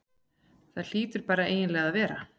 Það hlýtur bara eiginlega að vera.